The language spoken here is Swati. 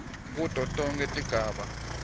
kuto tonkhe tigaba